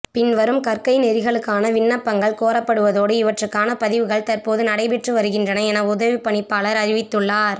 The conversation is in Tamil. பின்வரும் கற்கைநெறிகளுக்கான விண்ணப்பங்கள் கோரப்படுவதோடு இவற்றுக்கான பதிவுகள் தற்போது நடைபெற்று வருகின்றன என உதவிப் பணிப்பாளர் அறிவித்துள்ளார்